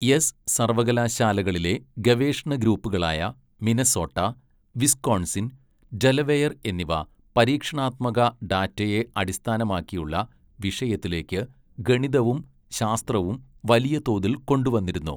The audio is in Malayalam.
എസ് സർവ്വകലാശാലകളിലെ ഗവേഷണ ഗ്രൂപ്പുകളായ മിനസോട്ട, വിസ്കോൺസിൻ, ഡെലവെയർ എന്നിവ പരീക്ഷണാത്മക ഡാറ്റയെ അടിസ്ഥാനമാക്കിയുള്ള വിഷയത്തിലേക്ക് ഗണിതവും ശാസ്ത്രവും വലിയ തോതിൽ കൊണ്ടുവന്നിരുന്നു.